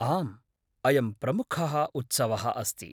आम्, अयं प्रमुखः उत्सवः अस्ति।